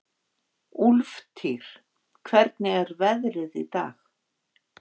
Úlftýr, hvernig er veðrið í dag?